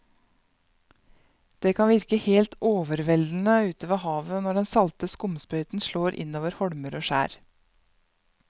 Det kan virke helt overveldende ute ved havet når den salte skumsprøyten slår innover holmer og skjær.